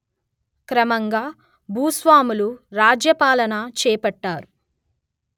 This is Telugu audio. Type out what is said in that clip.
క్రమంగా భూస్వాములు రాజ్యపాలన చేపట్టారు